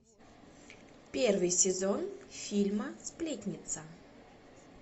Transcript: первый сезон фильма сплетница